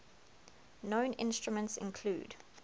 known instruments include